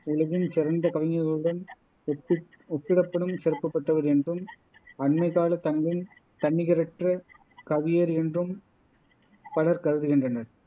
உலகின் சிறந்த கவிஞர்களுடன் ஒப்பி ஒப்பிடப்படும் சிறப்பு பெற்றவர் என்றும் அண்மைக்காலத் தமிழின் தன்னிகரற்ற கவியேறு என்றும் பலர் கருதுகின்றனர்